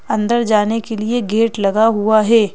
अंदर जाने के लिए गेट लगा हुआ है।